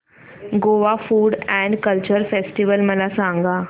Goa food and culture festival मला सांगा